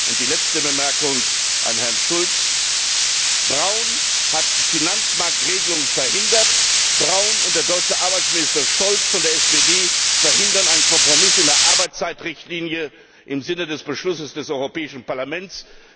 Und die letzte Bemerkung an Herrn Schulz Brown hat eine Finanzmarktregelung verhindert, Brown und der deutsche Arbeitsminister Scholz von der SPD verhindern einen Kompromiss in der Arbeitszeitrichtlinie im Sinne des Beschlusses des Europäischen Parlaments.